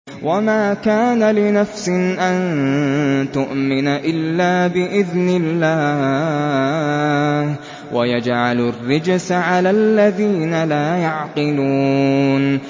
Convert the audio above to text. وَمَا كَانَ لِنَفْسٍ أَن تُؤْمِنَ إِلَّا بِإِذْنِ اللَّهِ ۚ وَيَجْعَلُ الرِّجْسَ عَلَى الَّذِينَ لَا يَعْقِلُونَ